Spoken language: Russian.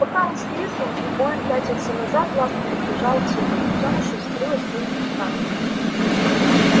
пока он с визгом и воем пятился назад ласка подбежала к своему детёнышу и скрылась с ним в кустах